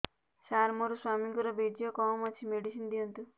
ସାର ମୋର ସ୍ୱାମୀଙ୍କର ବୀର୍ଯ୍ୟ କମ ଅଛି ମେଡିସିନ ଦିଅନ୍ତୁ